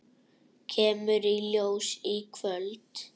Kemur í ljós í kvöld.